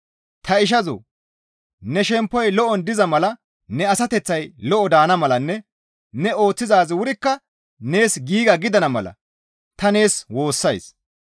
Ta ishazoo! Ne shemppoy lo7on diza mala ne asateththay lo7o daana malanne ne ooththizaazi wurikka nees giiga gidana mala ta nees woossays.